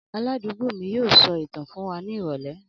Aládùúgbò mi yóò sọ ìtàn fún wa ní ìrọ̀lẹ́